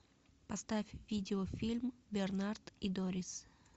поставь видеофильм бернард и дорис